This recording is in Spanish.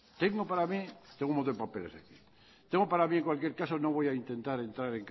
para mi en cualquier caso no voy a intentar entrar